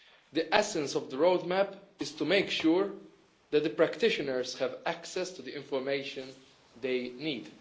The essence of the roadmap is to make sure that the practitioners have access to the information they need.